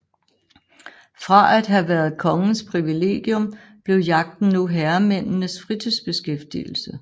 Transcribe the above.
Fra at have været kongens privilegium blev jagten nu herremændenes fritidsbeskæftigelse